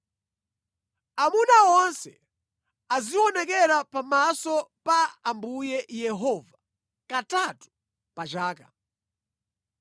“Amuna onse azionekera pamaso pa Ambuye Yehova katatu pa chaka.